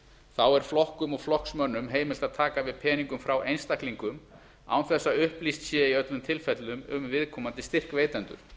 þá er flokkum og flokksmönnum heimilt að taka við peningum frá einstaklingum án þess að upplýst sé í öllum tilfellum um viðkomandi styrkveitendur